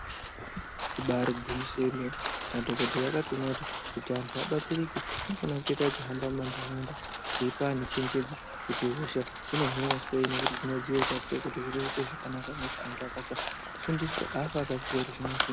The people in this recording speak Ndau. Ibari gwinyiso remene madhokodheya akatoona kuti antu abatsirike anofana kuita achihamba mumandaraunda eipa antu chenjedzo kuti hosha dzinohinwa sei nekuti zvinoita kuti vantu vaite zvakanaka nekuti ant akafunda afi akaziva zvinozwini.